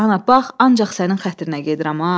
Ana, bax, ancaq sənin xətrinə gedirəm ha.